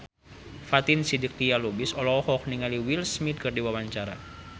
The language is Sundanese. Fatin Shidqia Lubis olohok ningali Will Smith keur diwawancara